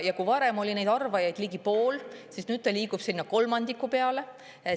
Kui varem oli sellise arvamuse ligi pool, siis nüüd on see liikunud sinna kolmandiku peale.